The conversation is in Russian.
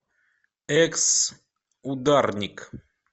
экс ударник